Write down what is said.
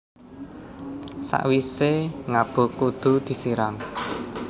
Sakwisé ngabuk kudu disiram